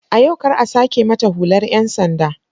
A yau kar a sake mata hular 'yan sanda!